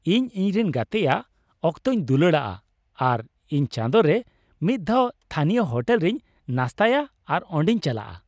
ᱤᱧ ᱤᱧᱨᱮᱱ ᱜᱟᱛᱮᱭᱟ ᱚᱠᱛᱚᱧ ᱫᱩᱞᱟᱹᱲᱟᱜᱼᱟ ᱟᱨ ᱤᱧ ᱪᱟᱸᱫᱳ ᱨᱮ ᱢᱤᱫᱼᱫᱷᱟᱣ ᱛᱷᱟᱹᱱᱤᱭᱚ ᱦᱳᱴᱮᱞ ᱨᱤᱧ ᱱᱟᱥᱛᱟᱭᱟ ᱟᱨ ᱚᱸᱰᱮᱧ ᱪᱟᱞᱟᱜᱼᱟ ᱾